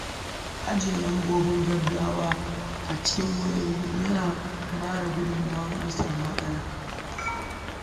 Ajjiye lambobin gaggawa a cikin waya yana taimakawa idan an samu matsala.